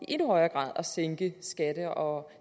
endnu højere grad at sænke skatter og